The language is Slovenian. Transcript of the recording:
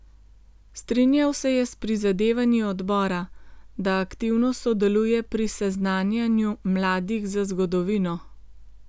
Strinjal se je s prizadevanji odbora, da aktivno sodeluje pri seznanjanju mladih z zgodovino.